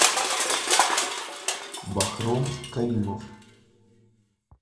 бахром каримов